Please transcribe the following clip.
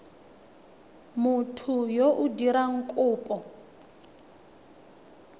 motho yo o dirang kopo